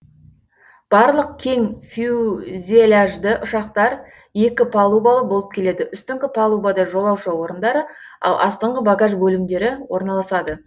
барлық кең фюзеляжды ұшақтар екі палубалы болып келеді үстіңгі палубада жолаушы орындары ал астыңғы багаж бөлімдері орналасады